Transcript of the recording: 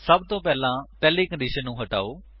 ਸਭਤੋਂ ਪਹਿਲਾਂ ਪਹਿਲੀ ਕੰਡੀਸ਼ਨ ਨੂੰ ਹਟਾਓ